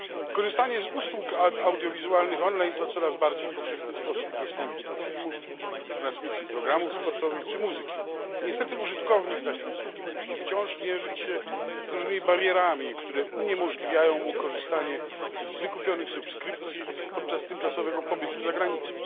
Korzystanie z usług audiowizualnych online to coraz bardziej powszechny sposób dostępu do filmów, transmisji programów sportowych czy muzyki. Niestety użytkownik takiej usługi musi wciąż mierzyć się z różnymi barierami, które uniemożliwiają mu korzystanie z wykupionych subskrypcji podczas tymczasowego pobytu za granicą.